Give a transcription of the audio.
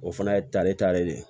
O fana ye tali taalen de ye